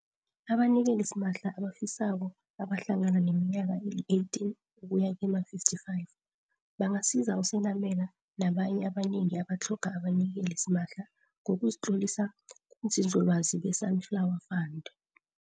Abanikeli simahla abafisako abahlangana neminyaka eli-18 ukuya kema-55 bangasiza uSenamela nabanye abanengi abatlhoga abanikeli simahla ngokuzitlolisa kubunzinzolwazi be-Sunflower Fund.